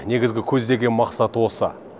негізгі көздеген мақсат осы